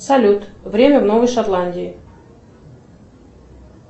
салют время в новой шотландии